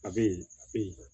A bɛ yen a bɛ yen